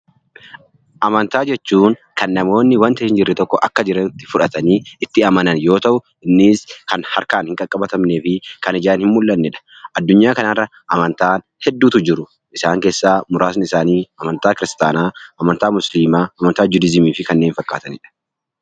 Amantaa jechuun kan namoonni waanta hin jirre tokko akka jirutti fudhatanii itti amanan yoo ta'u, innis kan harkaan hin qaqqabatamnee fi kan ijaan hin mul'annedha. Addunyaa kanarra amantaan hedduutu jiru. Isaan keessaa muraasni isaanii amantaa Kiristaanaa, amantaa Musliimaa, amantaa Judihizimii fi kanneen fakkaatanidha.